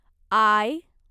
I